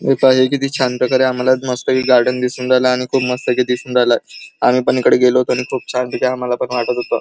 हे पहा किती छान प्रकारे आम्हाला मस्त पैकी गार्डन दिसून राहीलय मस्त पैकी दिसून राहीलय आम्ही पण इकडे गेलो होतो आणि खूप छान पैकी आम्हाला पण वाटत होत.